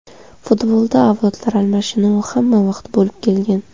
Futbolda avlodlar almashinuvi hamma vaqt bo‘lib kelgan.